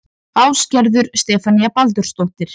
Ásgerður Stefanía Baldursdóttir